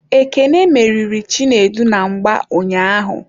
Ekene meriri Chinedu na mgba ụnyaahụ.